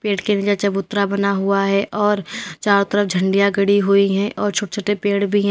पेड़ के नीचे चबूतरा बना हुआ है और चारों तरफ झंडिया गड़ी हुई है और छोटे छोटे पेड़ भी है।